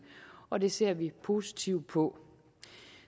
og det ser vi positivt på